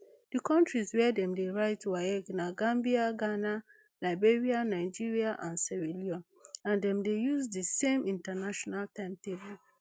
di kontris wia dem dey write waec na gambia ghana liberia nigeria and sierra leone and dem dey use di same international timetable